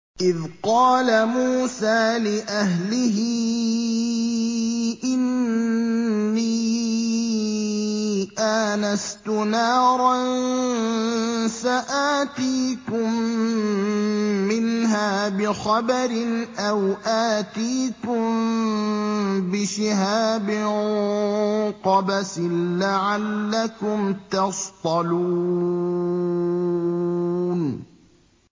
إِذْ قَالَ مُوسَىٰ لِأَهْلِهِ إِنِّي آنَسْتُ نَارًا سَآتِيكُم مِّنْهَا بِخَبَرٍ أَوْ آتِيكُم بِشِهَابٍ قَبَسٍ لَّعَلَّكُمْ تَصْطَلُونَ